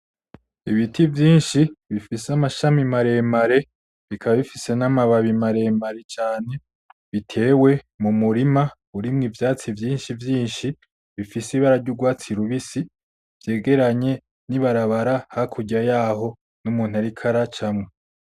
Ibiti vyinshi bifise amashami maremare , bikaba bifise n'amababi maremare cane bitewe mumurima urimwo ivyatsi vyinshi vyinshi , bifise ibara ry'urwatsi rubisi vyegeranye n'ibarabara hakurya yaho , n'umuntu ariko aracamwo .